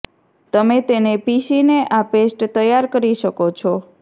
તમે તેને પીસીને આ પેસ્ટ તૈયાર કરી શકો છો